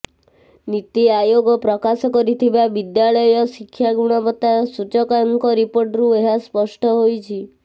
ନୀତି ଆୟୋଗ ପ୍ରକାଶ କରିଥିବା ବିଦ୍ୟାଳୟ ଶିକ୍ଷା ଗୁଣବତା ସୂଚକାଙ୍କ ରିପୋର୍ଟରୁ ଏହା ସ୍ପଷ୍ଟ ହୋଇଛି